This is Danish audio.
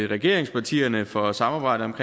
regeringspartierne for samarbejdet om